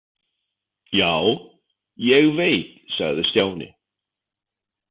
Já, ég veit sagði Stjáni.